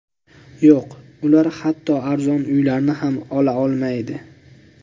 Yo‘q, ular hatto arzon uylarni ham olaolmaydi.